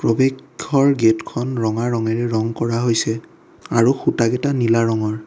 অবিক্ষৰ gate খন ৰঙা ৰঙেৰে ৰং কৰা হৈছে আৰু খুঁটাকেইটা নীলা ৰঙৰ।